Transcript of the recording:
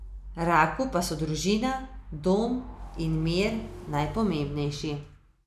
Raku pa so družina, dom in mir najpomembnejši.